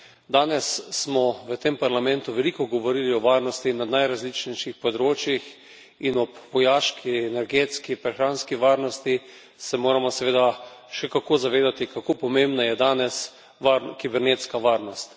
Danes smo v tem Parlamentu veliko govorili o varnosti na najrazličnejših področjih in ob vojaški, energetski, prehranski varnosti se moramo seveda še kako zavedati, kako pomembna je danes kibernetska varnost.